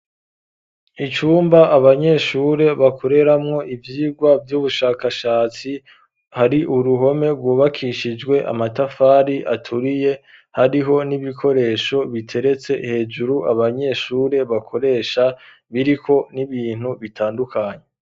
Icumba abanyeshure bakoreramwo ivyigwa vy'ubushakashatsi, hari uruhome rwubakishijwe amatafari aturiye hariho n'ibikoresho biteretse hejuru abanyeshure bakoresha ,biriko n'ibintu bitandukanye.